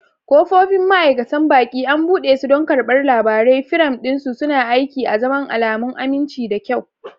Ƙofofi, ma'aikatan baƙi, an buɗe su don karɓar labarai, firam ɗin su suna aiki azaman alamun aminci da kyau.